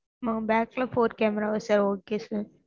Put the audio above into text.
ஆஹ் back ல four camera வா sir okay sir